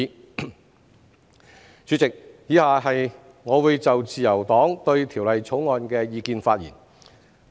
代理主席，以下我會就自由黨對《條例草案》的意見發言。